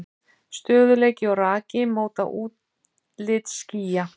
Stöðugleiki og raki móta útlit skýja.